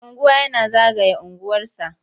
Mai unguwa yana zagaya unguwarsa.